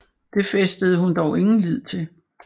Det fæstede hun dog ingen lid til